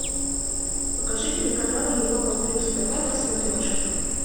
покажи телеканал европа плюс тв на смотрешке